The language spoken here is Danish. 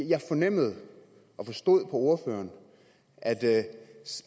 jeg fornemmede og forstod på ordføreren at det